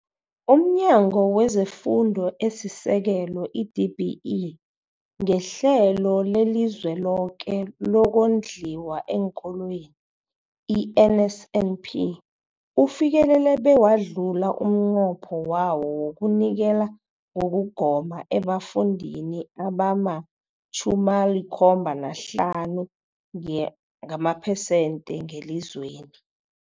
UmNyango wezeFundo esiSekelo, i-DBE, ngeHlelo leliZweloke lokoNdliwa eenKolweni, i-NSNP, ufikelele bewadlula umnqopho wawo wokunikela ngokugoma ebafundini abama-75 nge abamaphesenthe ngelizweni.